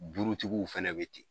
Burutigiw fɛnɛ be ten.